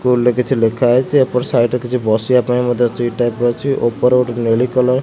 stool ରେ କିଛି ଲେଖାଯାଇଛି ଏପଟ ସାଇଡ୍ ରେ କିଛି ବସିବା ପାଇଁ ମଧ୍ୟ ସିଟ୍ ଟାଇପ୍ ର ଅଛି ଉପର ଗୋଟେ ନେଲି କଲର୍ --